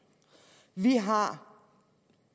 vi har